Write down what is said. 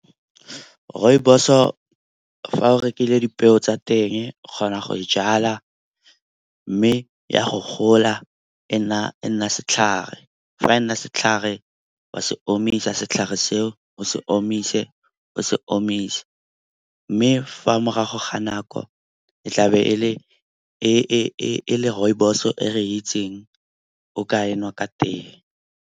Rooibos-o fa o rekile dipeo tsa teng o kgona go e jala mme ya go gola e nna setlhare. Fa e nna setlhare wa se omisa setlhare seo o se omise, o se omise. Mme fa morago ga nako e tla be e le rooibos-o e re itseng o ka enwa ka tee.